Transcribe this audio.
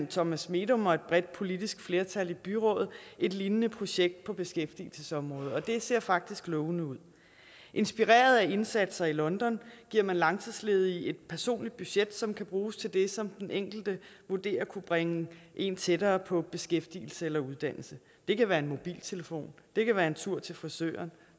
thomas medom og et bredt politisk flertal i byrådet et lignende projekt på beskæftigelsesområdet og det ser faktisk lovende ud inspireret af indsatser i london giver man langtidsledige et personligt budget som kan bruges til det som den enkelte vurderer kunne bringe en tættere på beskæftigelse eller uddannelse det kan være en mobiltelefon det kan være en tur til frisøren